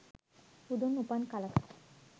බුදුන් උපන් කලක